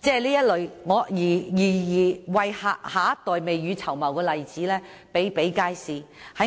這類為下一代未雨綢繆的例子比比皆是，